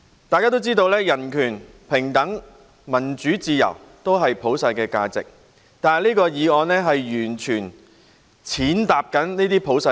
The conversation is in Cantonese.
大家都知道人權、平等、民主自由是普世價值，但此議案完全加以踐踏。